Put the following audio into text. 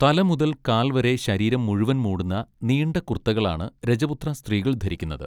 തല മുതൽ കാൽ വരെ ശരീരം മുഴുവൻ മൂടുന്ന നീണ്ട കുർത്തകളാണ് രജപുത്ര സ്ത്രീകൾ ധരിക്കുന്നത്.